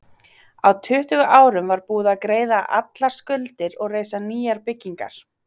Á tuttugu árum var búið að greiða allar skuldir og reisa nýjar byggingar.